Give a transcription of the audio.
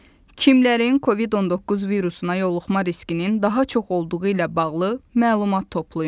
Kimlərin Covid-19 virusuna yoluxma riskinin daha çox olduğu ilə bağlı məlumat toplayın.